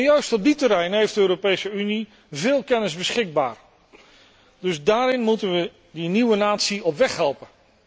Juist op die terreinen heeft de Europese Unie veel kennis beschikbaar, dus daarin moeten we de nieuwe natie op weg helpen.